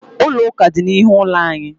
Ụlọ ụka dị n'ihu ụlọ anyị.